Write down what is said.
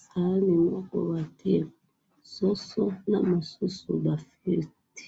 sahani moko batiye soso oyo mosusu ba fritte.